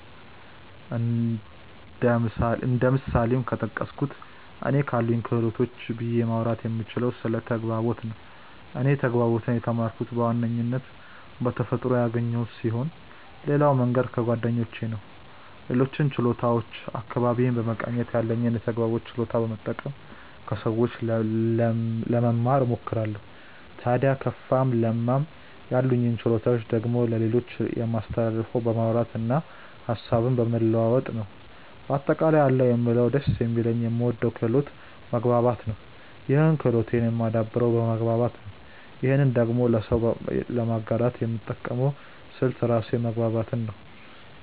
እንደ ምሳሌም ከተጠቀሱት እኔ ካሉኝ ክህሎቶች ብዬ ማውራት የምችለው ስለ ተግባቦት ነው። እኔ ተግባቦትን የተማርኩት በዋናነት በተፈጥሮ ያገኘሁት ስሆን ሌላው መንገድ ከጓደኞቼ ነው። ሌሎችን ችሎታዎች አካባቢዬን በመቃኘት እና ያለኝን የተግባቦት ችሎታ በመጠቀም ከሰዎች ለመማ እሞክራለው። ታድያ ከፋም ለማም ያሉኝን ችሎታዎች ደግሞ ለሌሎች የማስተላልፈው በማውራት እና ሀሳብን በመለዋወጥ ነው። በአጠቃላይ አለኝ የምለው ደስ የሚለኝ የምወደው ክህሎቴ መግባባት ነው ይህን ክህሎቴን የማደብረው በመግባባት ነው ይህንኑ ደግሞ ለሰው ለማጋራት የምጠቀመው ስልት ራሱ መግባባትን ነው።